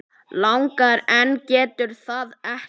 Langar en getur það ekki.